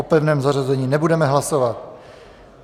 O pevném zařazení nebudeme hlasovat.